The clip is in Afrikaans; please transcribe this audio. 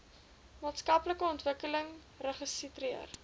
maatskaplike ontwikkeling registreer